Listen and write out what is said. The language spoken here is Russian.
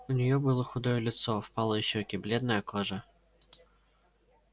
у неё было худое лицо впалые щёки бледная кожа